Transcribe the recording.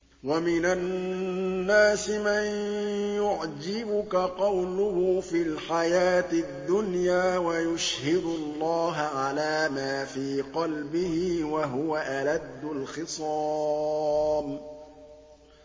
وَمِنَ النَّاسِ مَن يُعْجِبُكَ قَوْلُهُ فِي الْحَيَاةِ الدُّنْيَا وَيُشْهِدُ اللَّهَ عَلَىٰ مَا فِي قَلْبِهِ وَهُوَ أَلَدُّ الْخِصَامِ